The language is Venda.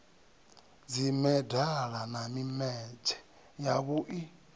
dzimedala na mimetshe ya vhui